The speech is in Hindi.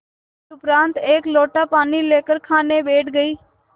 तदुपरांत एक लोटा पानी लेकर खाने बैठ गई